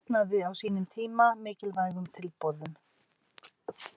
Ég hafnaði á sínum tíma mikilvægum tilboðum.